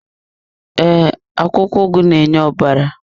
Ee, akwụkwọ ugu na-enye ọbara.